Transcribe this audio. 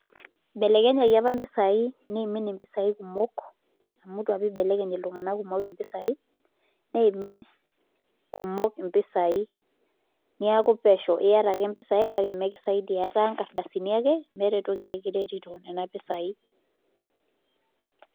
Ibelekenyaki apa mpisaai niimin mpisaai kumok amu itu apa ibelekeny iltunganak kumok mpisai neimin kumok mpisai neeku pesho iata ake mpisai kake mikisaidia etaa nkardasini ake meeta entoki nekiretito nena pisaai.